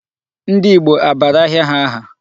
Ndị Igbo a bara ahịa ha aha?